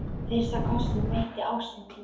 Fyrsta kossinn veitti ástin þín.